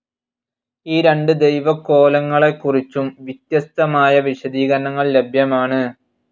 ഈ രണ്ട് ദൈവക്കോലങ്ങളെക്കുറിച്ചും വ്യത്യസ്തമായ വിശദീകരണങ്ങൾ ലഭ്യമാണ്.